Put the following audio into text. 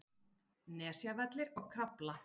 Nesjavellir og Krafla.